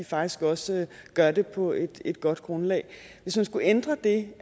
faktisk også gør det på et et godt grundlag hvis man skulle ændre det